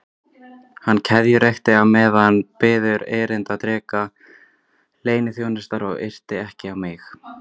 Hann keðjureykti á meðan við biðum erindreka leyniþjónustunnar og yrti ekki á mig.